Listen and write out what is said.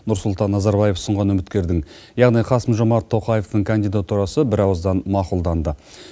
нұрсұлтан назарбаев ұсынған үміткердің яғни қасым жомарт тоқаевтың кандидатурасы бір ауыздан мақұлданды